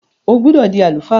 O gbọdọ di àlùfáà!